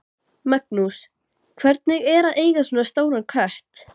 Magnús: Hvernig er að eiga svona stóran kött?